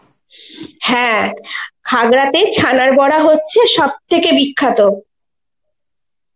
হ্যাঁ খাগড়াতে ছানার বড়া হচ্ছে সবথেকে বিখ্যাত